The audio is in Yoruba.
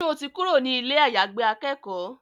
Sọ ti kúrò ní ilé àyàgbé akẹ́kọ̀ọ́?